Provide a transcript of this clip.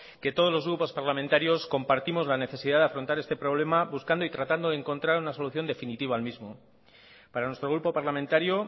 que todos los grupos parlamentarios compartimos la necesidad de afrontar este problema buscando y tratando de encontrar una solución definitiva al mismo para nuestro grupo parlamentario